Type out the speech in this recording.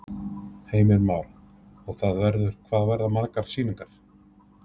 Heimir Már: Og það verður, hvað verða margar sýningar?